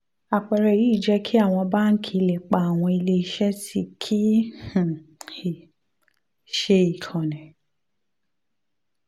àpẹẹrẹ yìí jẹ́ kí àwọn báńkì lè pa àwọn ilé iṣẹ́ tí kì um í um ṣe ìkànnì